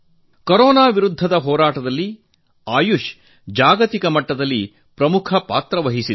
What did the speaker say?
corona ವಿರುದ್ಧದ ಹೋರಾಟದಲ್ಲಿ ಆಯುಷ್ ಜಾಗತಿಕ ಮಟ್ಟದಲ್ಲಿ ಪ್ರಮುಖ ಪಾತ್ರ ವಹಿಸುವಂತಾಗಿದೆ